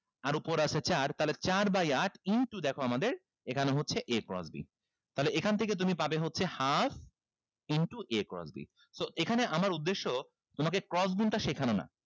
আর উপরে আছে চার তাহলে চার by আট into দেখো আমাদের এখানে হচ্ছে a cross b তাহলে এখান থেকে তুমি পাবে হচ্ছে half into a cross b so এইখানে আমার উদ্দেশ্য তোমাকে cross গুনটা শেখানো না